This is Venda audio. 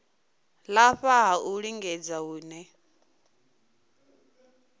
lafha ha u lingedza hune